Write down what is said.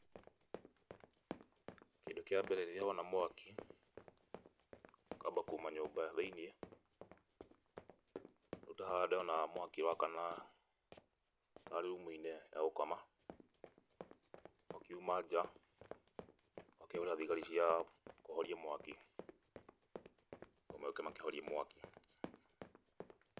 Kĩndũ kĩa mbere rĩrĩa wona mwaki ], ũkamba kuuma nyũmba thĩinĩ wona mwaki wakana room ya gũkoma, ũkiuma njaa ũgakĩhũrĩra thigari cia kũhoria mwaki, mooke makĩhorie mwaki.